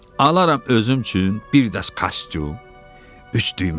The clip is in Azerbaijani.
Alaram özüm üçün bir dəst kostyum, üç düyməlidən.